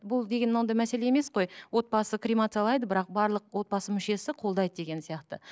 бұл деген мынандай мәселе емес қой отбасы кремациялайды бірақ барлық отбасы мүшесі қолдайды деген сияқты